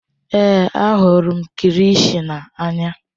Èé, ahụrụ m kilishi n'anya.